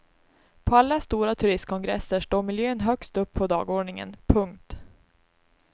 På alla stora turistkongresser står miljön högst upp dagordningen. punkt